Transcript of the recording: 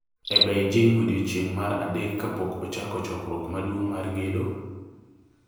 e Beijing e odiechieng’ mar adek kapok ochako chokruok maduong’ mar gedo